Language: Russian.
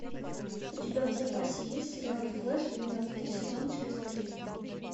у тебя в запасе есть сериал флэш двенадцатый сезон часть три